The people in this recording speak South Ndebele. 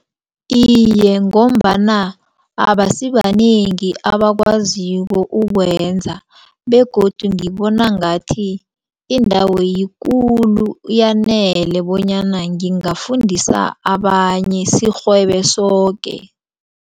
Iye, ngombana abasibanengi abakwaziko ukwenza begodu ngibona ngathi indawo yikulu yanele bonyana ngingafundisa abanye sirhwebe soke.